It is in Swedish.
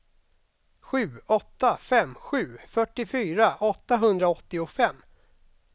sju åtta fem sju fyrtiofyra åttahundraåttiofem